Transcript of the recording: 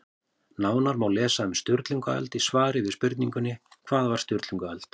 Nánar má lesa um Sturlungaöld í svari við spurningunni Hvað var Sturlungaöld?